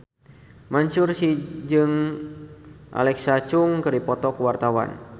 Mansyur S jeung Alexa Chung keur dipoto ku wartawan